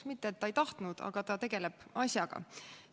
Mitte et ta ei tahtnud, aga ta tegeleb asjaga.